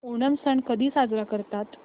ओणम सण कधी साजरा करतात